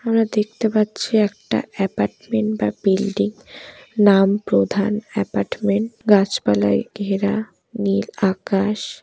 আমরা দেখতে পাচ্ছি একটা অ্যাপার্টমেন্ট বা বিল্ডিং নাম প্রধান অ্যাপার্টমেন্ট গাছপালাই ঘেরা নীল আকাশ।